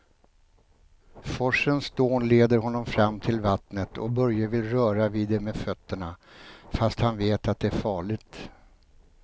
Forsens dån leder honom fram till vattnet och Börje vill röra vid det med fötterna, fast han vet att det är farligt.